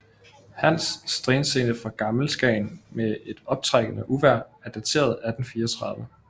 Hans Strandscene fra Gammel Skagen med et optrækkende uvejr er dateret 1834